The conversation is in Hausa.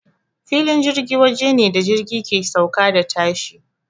Filin jirgi waje ne da jirgi ke sauka da tashi.